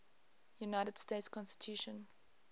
united states constitution